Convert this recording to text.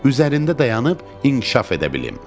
Üzərində dayanıb inkişaf edə bilim.